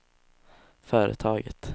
företaget